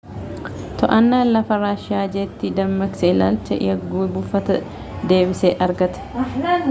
to'annaan lafaa raashiiya jeetii dammaqsee ilaalcha yagguu buufataa deebisee argate